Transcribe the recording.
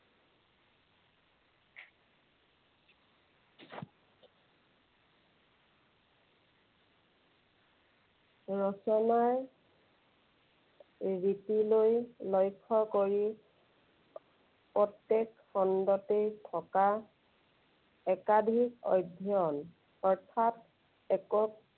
ৰচনা ৰীতিলৈ লক্ষ্য কৰি প্ৰত্যেক খণ্ডতে থকা একাধিক অধ্যয়ন। অৰ্থাৎ একক